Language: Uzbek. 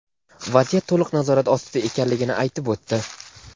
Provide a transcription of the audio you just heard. vaziyat to‘liq nazorat ostida ekanligini aytib o‘tdi.